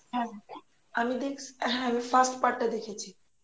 হ্যাঁ আমি দেখ হ্যাঁ আমি first part টা দেখেছি